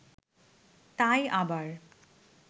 তাই আবার